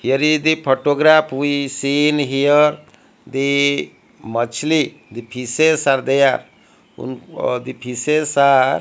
here is the photograph we see in here the the pishes are there vun the fishes are--